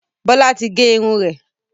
Bọlá tí gé irun rẹ̀